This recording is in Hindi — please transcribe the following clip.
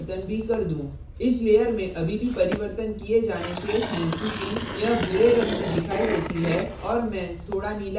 इस layer में अभी भी परिवर्तन किए जाने शेष हैं चूँकि यह भूरे रंग की दिखाई देती है और मैं थोड़ा नीला रंग मिलाना चाहता हूँ